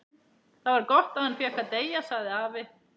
Það var gott að hann fékk að deyja sagði afi.